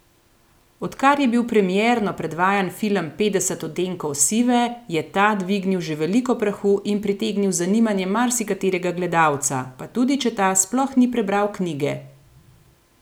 Odkar je bil premierno predvajan film Petdeset odtenkov sive, je ta dvignil že veliko prahu in pritegnil zanimanje marsikaterega gledalca, pa tudi če ta sploh ni prebral knjige.